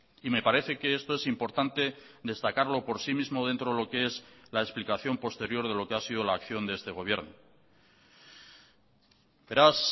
y me parece que esto es importante destacarlo por sí mismo dentro de lo que es la explicación posterior de lo que ha sido la acción de este gobierno beraz